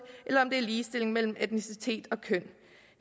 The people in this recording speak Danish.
eller om det er ligestilling mellem etnicitet og køn